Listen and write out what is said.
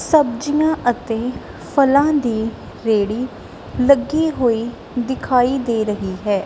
ਸਬਜੀਆਂ ਅਤੇ ਫਲਾਂ ਦੀ ਰੇੜੀ ਲੱਗੀ ਹੋਈ ਦਿਖਾਈ ਦੇ ਰਹੀ ਹੈ।